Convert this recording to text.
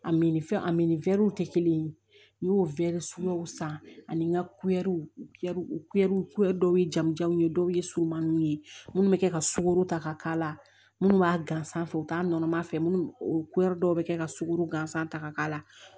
A min fɛn a min tɛ kelen ye n y'o weele suguyaw san ani n ka uɛriw dɔw ye jamujanw ye dɔw ye surumaninw ye minnu bɛ kɛ ka sukɔro ta ka k'a la minnu b'a gansan u t'a nɔnɔ fɛ minnu o dɔw bɛ kɛ ka sukaro gansan ta ka k'a la